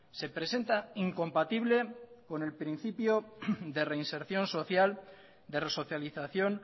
se presenta incompatible con el principio de reinserción social de resocialización